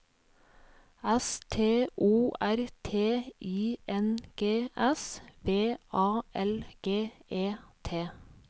S T O R T I N G S V A L G E T